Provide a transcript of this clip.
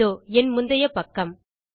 இதோ என் முந்தைய பக்கம்